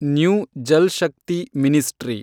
new Jal Shakti ministry